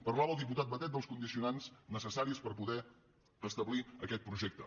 parlava el diputat batet dels condicionants necessaris per poder establir aquest projecte